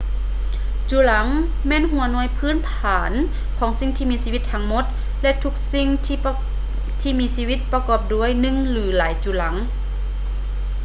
ຈຸລັງ ແມ່ນຫົວໜ່ວຍພື້ນຖານຂອງສິ່ງມີຊີວິດທັງໝົດ ແລະ ທຸກສິ່ງທີ່ມີຊີວິດປະກອບດ້ວຍໜຶ່ງ ຫຼື ຫຼາຍຈຸລັງ